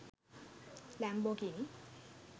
lambogini